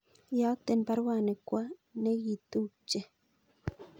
Iyokten baruani kwo negitupche